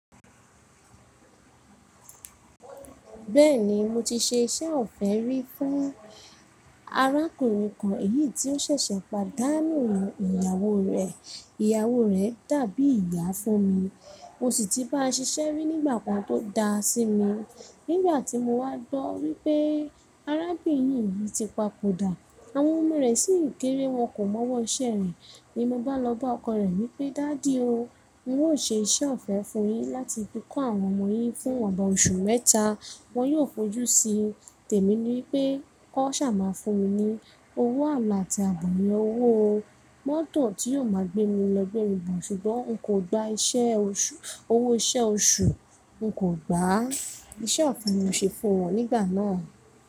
Bẹ́ẹ̀ni mo ti ṣe iṣẹ́ ọ̀fẹ́ rí fún arákùnrin kan, èyí tí ó ṣẹ̀ṣẹ̀ pàdánù ìyàwó rẹ̀. Ìyàwó rẹ̀ dàbí ìyá fún mi, mo sì ti bá ṣiṣẹ́ rí nígbà kan tó da sí mi. Nígbà tí mo wá gbọ́ wípé arábìnrin yìí ti papòdà, àwọn ọmọ rẹ̀ sì ń kéré wọn kò mọwọ́ iṣẹ́ rẹ̀ ni mo gbá lọ bá ọkọ rẹ̀ wípé, “Daddy o, mo ò ṣe iṣẹ́ ọ̀fẹ́ fún yín láti fíko àwọn ọmọ yín fún ọba oṣù mẹ́ta. Wọn yóò fojú sí ọ.” Tẹ̀mi ní pé “kọ́ ṣà máa fún mi ní owó àmà àti àgbọn ẹ owó mọ́tò tí yóò máa gbé mi lọ gbẹ̀mì bọ̀ ṣùgbọ́n n kò gba iṣẹ́ oṣù, owó iṣẹ́ oṣù n kò gbá.” Iṣẹ́ ọ̀fẹ́ ni mo ṣe fún wọn nígbà náà.